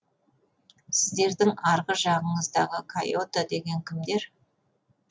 сіздердің арғы жағыңыздағы кайота деген кімдер